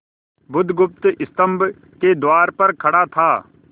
बुधगुप्त स्तंभ के द्वार पर खड़ा था